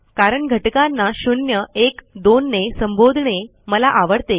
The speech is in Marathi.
कारण घटकांना शून्य एक दोन ने संबोधणे मला आवडते